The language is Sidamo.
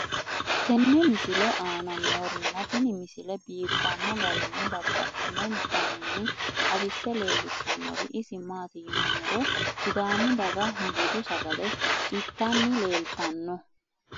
tenne misile aana noorina tini misile biiffanno garinni babaxxinno daniinni xawisse leelishanori isi maati yinummoro sidaamu daga budu sagale ittanni leelattanno